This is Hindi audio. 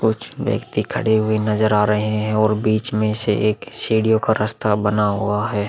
कुछ व्यक्ति खड़े हुए नज़र आ रहे हैं और बीच में से एक सीढ़ियों का रस्ता बना हुआ है।